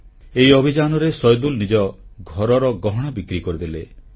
ଏହି ଅଭିଯାନରେ ସୈଦୁଲ ନିଜ ଘରର ଗହଣା ବିକ୍ରି କରିଦେଲେ